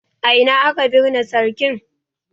A ina aka binne sarkin?